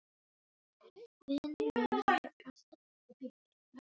Vinur minn hafði alltaf eitthvað handbært.